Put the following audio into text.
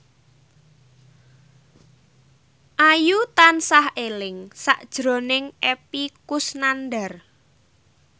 Ayu tansah eling sakjroning Epy Kusnandar